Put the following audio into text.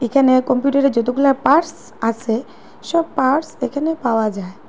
এখানে কম্পিউটারের যতগুলা পার্স আসে সব পার্স এখানে পাওয়া যায়।